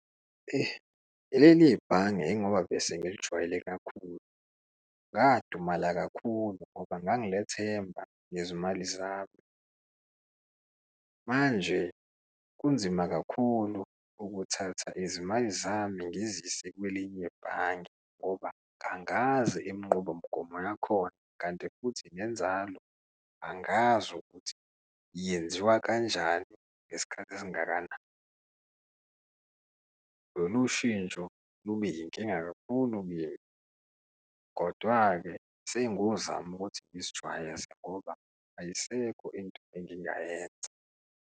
Leli bhange ingoba bese ngilijwayele kakhulu, ngadumala kakhulu ngoba ngangilethemba ngezimali zami. Manje kunzima kakhulu ukuthatha izimali zami ngizise kwelinye ebhange ngoba kangazi inqubomgomo yakhona, kanti futhi nenzalo angazi ukuthi yenziwa kanjani ngesikhathi esingakanani. Lolu shintsho lube inkinga kakhulu , kodwa-ke sengozozama ukuthi ngizijwayeza ngoba ayisekho into engingayenza.